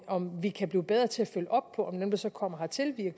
om vi kan blive bedre til at følge op på dem der så kommer hertil via